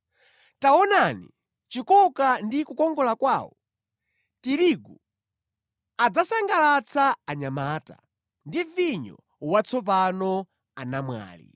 Taonani chikoka ndi kukongola kwawo! Tirigu adzasangalatsa anyamata, ndi vinyo watsopano anamwali.